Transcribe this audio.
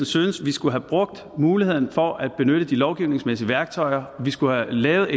synes vi skulle have brugt muligheden for at benytte de lovgivningsmæssige værktøjer vi skulle have lavet